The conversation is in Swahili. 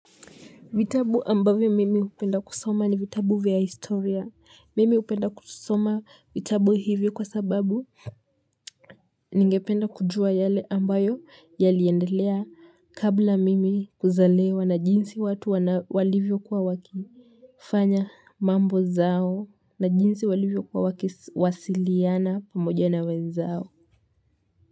Vitabu ambavyo mimi hupenda kusoma ni vitabu vya historia. Mimi hupenda kusoma vitabu hivyo kwa sababu ningependa kujua yale ambayo yaliendelea kabla mimi kuzaliwa na jinsi watu walivyokuwa waki. Fanya mambo zao na jinsi walivyokuwa wakiwasiliana pamoja na wenzao.